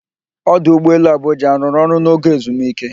Ọdụụgbọ elu Abụjạ a rụrụ ọrụ n'oge ezumike?